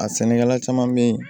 A sɛnɛkɛla caman be ye